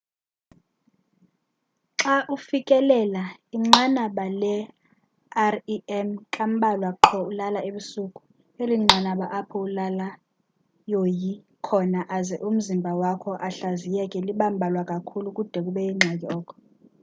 xa ufikelela inqanaba le-rem kambalwa qho ulala ebusuku eli nqanaba apho ulala yoyi khona aze umzimba wakho ahlaziyeke liba mbalwa kakhulu kude kube yingxaki oko